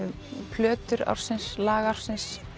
plötur ársins lag ársins